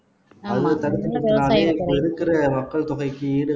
அதை தடுத்து நிறுத்தினாலே பெருக்குற மக்கள் தொகைக்கு ஈடு